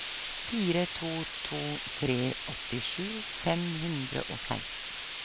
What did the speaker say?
fire to to tre åttisju fem hundre og seksten